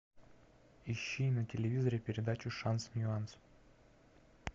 ищи на телевизоре передачу шанс ньюанс